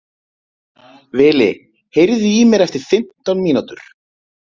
Vili, heyrðu í mér eftir fimmtán mínútur.